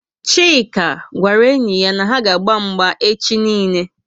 chike gwara enyi ya na ha aga agba mgba echi niile